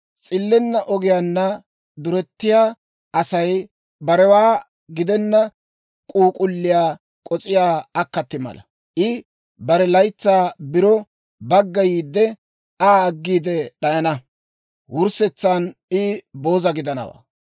S'illenna ogiyaanna durettiyaa Asay barewaa gidenna k'uuk'ulliyaa k'os'iyaa akkati mala. I bare laytsaa biro baggayiide, Aa aggiide d'ayana; wurssetsan I booza gidanawaa.